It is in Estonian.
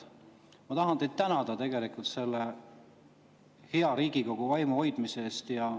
Ma tahan teid tänada selle hea Riigikogu vaimu hoidmise eest.